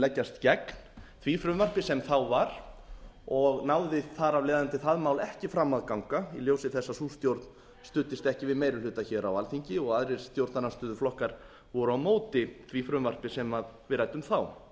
leggjast gegn því frumvarpi sem þá var og náði það mál þar af leiðandi ekki fram að ganga í ljósi þess að sú stjórn studdist ekki við meiri ættu hér á alþingi og aðrir stjórnarandstöðuflokkar voru á móti því frumvarpi sem við ræddum þá